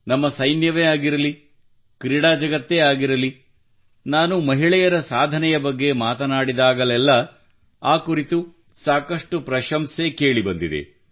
ನಮ್ಮ ಸೈನ್ಯವೇ ಆಗಿರಲಿ ಕ್ರೀಡಾ ಜಗತ್ತೇ ಇರಲಿ ನಾನು ಮಹಿಳೆಯರ ಸಾಧನೆಯ ಬಗ್ಗೆ ಮಾತನಾಡಿದಾಗಲೆಲ್ಲ ಆ ಕುರಿತು ಸಾಕಷ್ಟು ಪ್ರಶಂಸೆ ಕೇಳಿ ಬಂದಿದೆ